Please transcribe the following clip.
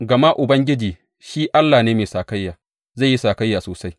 Gama Ubangiji shi Allah ne mai sakayya; zai yi sakayya sosai.